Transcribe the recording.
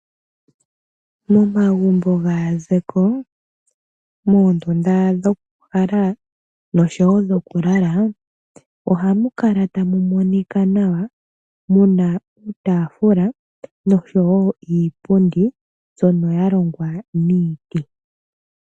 Nomagunbo gaazeko, mondunda dhoku kala osho wo dhoku lala. Ohamu kala tamu monika nawa, muna uutafula osho wo iipundi mbyoka ya longwa miiti.